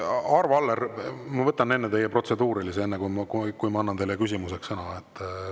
Arvo Aller, ma võtan enne teie protseduurilise ja siis annan teile küsimuseks sõna.